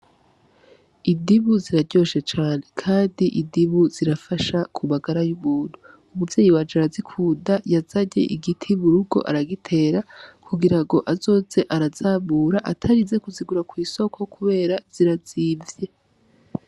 Idibu ziraryoshecane, kandi idibu zirafasha kubagara y'ubuntu umuvyeyi wajara zikuda yazarye igiti burugo aragitera kugira ngo azoze arazabura atarize kuzigura kw'isoko, kubera zirazivye.